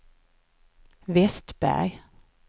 Westberg